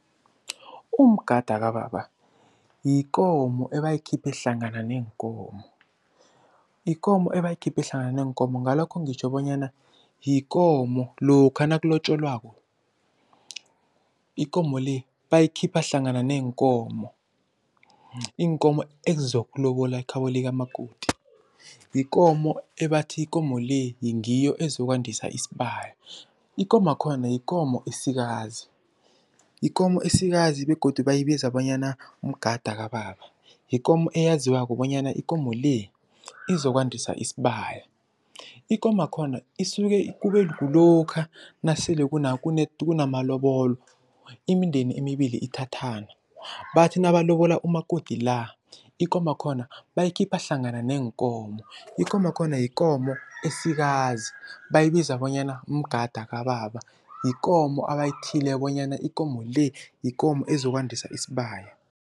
Umgada kababa yikomo ebayikhiphe hlangana neenkomo. Yikomo ebayikhiphe hlangana neenkomo ngalokho ngitjho bonyana, yikomo lokha nakulotjolwako ikomo le bayikhipha hlangana neenkomo, iinkomo ezizokulobola ekhabo likamakoti. Yikomo ebathi ikomo le ngiyo ezokwandisa isibaya. Ikomakhona yikomo esikazi, yikomo esikazi begodu bayibiza bonyana mgada kababa. Yikomo eyaziwako bonyana ikomo le, izokwandisa isibaya. Ikomakhona isuke kube kulokha nasele kunamalobolo, imindeni emibili ithathana, bathi nabalobola umakoti la, ikomakhona bayikhipha hlangana neenkomo. Ikomakhona yikomo esikazi bayibiza bonyana mgada kababa, yikomo abayithiyileko bonyana ikomo le, yikomo ezokwandisa isibaya.